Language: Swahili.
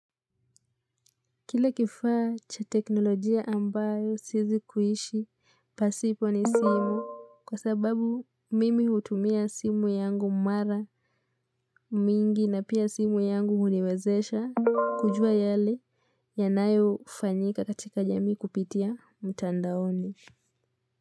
Kile kifaa cha teknolojia ambayo siezi kuishi pasipo ni simu kwa sababu mimi hutumia simu yangu mara mingi na pia simu yangu huniwezesha kujua yale yanayofanyika katika jamii kupitia mtandaoni.